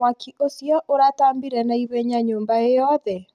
Mwaki ũcio ũratambire naihenya nyũmba ĩyothe